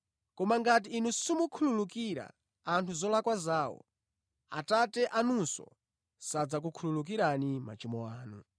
Koma ngati inu simukhululukira anthu zolakwa zawo, Atate anunso sadzakukhululukirani machimo anu.